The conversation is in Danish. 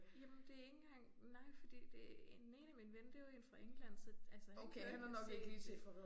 Jamen det ikke engang nej fordi det den ene er min ven det var én fra England så altså han har nok ikke set det